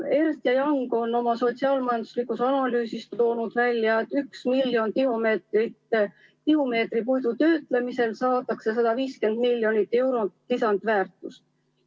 Ernst & Young on oma sotsiaal-majanduslikus analüüsis toonud välja, et 1 miljoni tihumeetri puidu töötlemisel saadakse 150 miljonit eurot lisandväärtust.